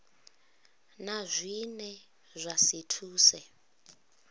na zwine zwa si thuse